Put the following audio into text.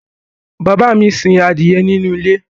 bàbá mi sin adìyẹ nínú ilé